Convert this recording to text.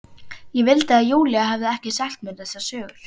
Ég vildi að Júlía hefði ekki sagt mér þessar sögur.